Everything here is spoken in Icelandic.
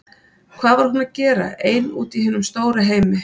Hvað var hún að gera ein úti í hinum stóra heimi?